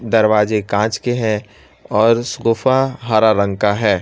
दरवाजे कांच के हैं और सोफा हरा रंग का हैं।